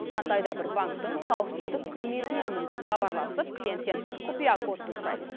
қандай да бір банктің қауіпсіздік қызметіненмін деп хабарласып клиенттен құпия кодты сұрайды